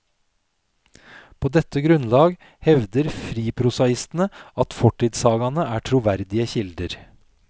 På dette grunnlag hevder friprosaistene at fortidssagaene er troverdige kilder.